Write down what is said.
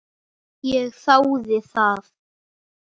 Ég þáði það.